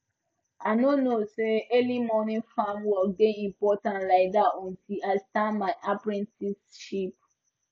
i no know say early morning farm work dey important like that until i start my apprenticeship